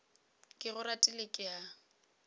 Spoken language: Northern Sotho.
ke go ratile ke a